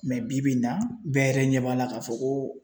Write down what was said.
bi-bi in na bɛɛ yɛrɛ ɲɛ b'a la k'a fɔ ko